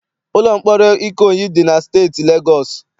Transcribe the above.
Ụlọ mkpọrọ Ikoyi dị na steeti Legọọsị.